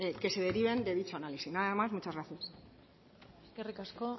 que se deriven de dicho análisis nada más muchas gracias eskerrik asko